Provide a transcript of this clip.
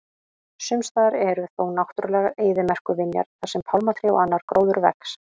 Sumstaðar eru þó náttúrulegar eyðimerkurvinjar þar sem pálmatré og annar gróður vex.